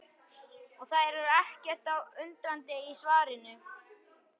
Og þær eru ekkert undrandi á svarinu.